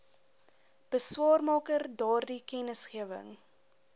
beswaarmaker daardie kennisgewing